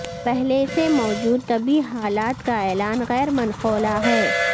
پہلے سے موجود طبی حالات کا اعلان غیر منقولہ ہے